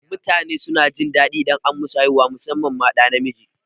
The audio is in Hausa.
Mutane suna jin daɗi idan an musu haihuwa musamman ma ɗa namiji